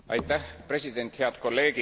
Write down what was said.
President, head kolleegid!